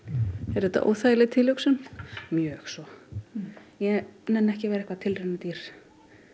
er þetta óþægileg tilhugsun mjög svo ég nenni ekki að vera eitthvert tilraunadýr